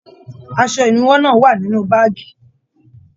Aṣọ ìnúwọ́ náà wà nínú báàgí.